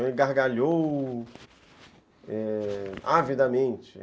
Ele gargalhou, é, avidamente.